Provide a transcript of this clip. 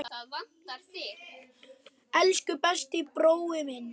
Elsku besti brói minn.